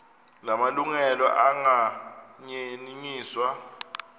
la malungelo anganyenyiswa